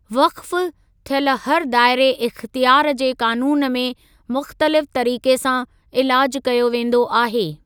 वक़्फ़ थियल हर दायरे इख़्तियारु जे क़ानूनु में मुख़्तलिफ़ तरीक़े सां इलाजु कयो वेंदो आहे।